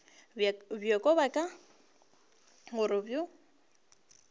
bjoko bja ka gore bo